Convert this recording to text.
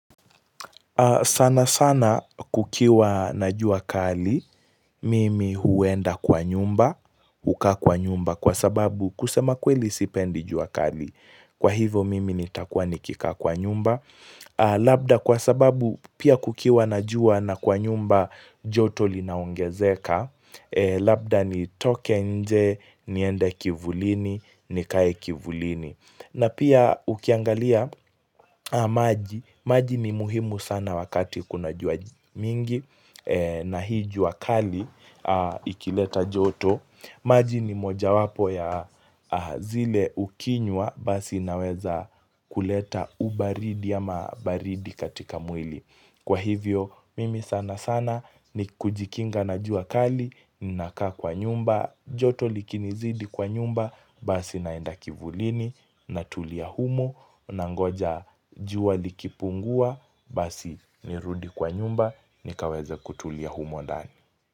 Sana sana kukiwa na jua kali, mimi huenda kwa nyumba, hukaa kwa nyumba kwa sababu kusema kweli sipendi jua kali. Kwa ivo mimi nitakuwa nikikaa kwa nyumba. Labda kwa sababu pia kukiwa na jua na kwa nyumba joto linaongezeka. Labda nitoke nje, niende kivulini, nikae kivulini. Na pia ukiangalia maji, maji ni muhimu sana wakati kuna jua mingi na hii jua kali ikileta joto, maji ni moja wapo ya zile ukinywa basi naweza kuleta ubaridi ama baridi katika mwili. Kwa hivyo, mimi sana sana ni kujikinga na jua kali, ninaka kwa nyumba, joto likinizidi kwa nyumba, basi naenda kivulini, natulia humo, nangoja jua likipungua, basi nirudi kwa nyumba, nikaweze kutulia humo ndani.